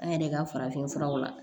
An yɛrɛ ka farafin furaw la